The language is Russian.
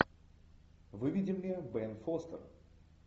выведи мне бен фостер